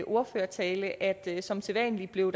ordførertale at der som sædvanlig blev